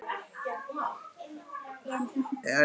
En svona er litla lífið.